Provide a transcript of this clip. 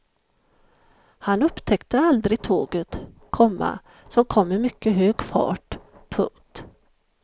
Han upptäckte aldrig tåget, komma som kom i mycket hög fart. punkt